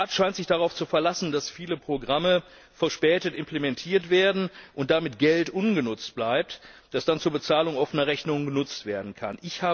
Der Rat scheint sich darauf zu verlassen, dass viele Programme verspätet implementiert werden und damit Geld ungenutzt bleibt, das dann zur Bezahlung offener Rechnungen genutzt werden kann.